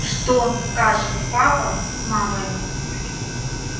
что скажут папа с мамой